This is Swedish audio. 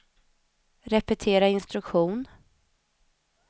repetera instruktion